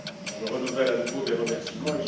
Je renouvelle à nouveau mes remerciements.